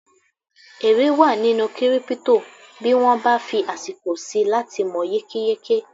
èrè wa nínú kírípítò bí wọ́n bá fí àsìkò síi láti mọ̀ yékéyéké